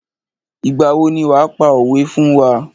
Ìgbà wo ni wàá pa òwé fún wá.